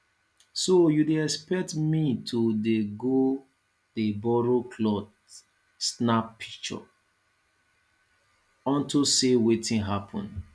so you dey expect me to dey go dey borrow cloth snap pishure on to say wetin happen